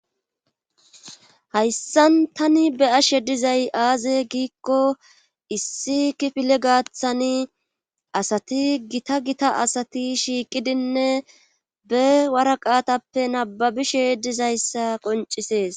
hayssan tani be ashe dizay aaze giikko issi kifile gaathani asati gita gita asati shiiqidinne be waraqaatappe nababishe dizayssa qoncisees